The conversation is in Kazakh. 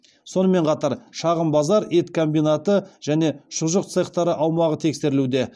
сонымен қатар шағын базар ет комбинаты және шұжық цехтары аумағы тексерілуде